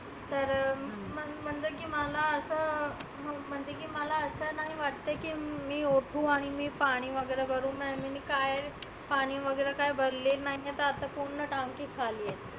तर मग म्हणलं की मला असं मग म्हणलं मला असं नाही वाटते की उठु आणि मी पाणि वगैरे करु मिनी काय पाणि वगैरे काय भरली नाय मग पुर्ण drum बी खाली आहे.